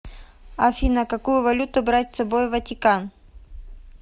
афина какую валюту брать с собой в ватикан